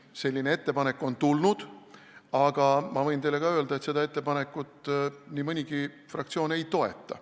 Selline ettepanek on tulnud, aga ma võin teile öelda, et seda ettepanekut nii mõnigi fraktsioon ei toeta.